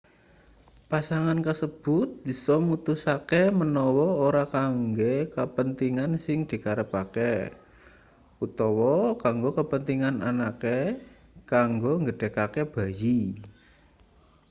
pasangan kasebut bisa mutusake manawa ora kanggo kapentingan sing dikarepake utawa kanggo kapentingan anake kanggo nggedhekake bayi